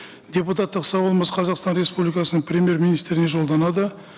депутаттық сауалымыз қазақстан республикасының премьер министріне жолданады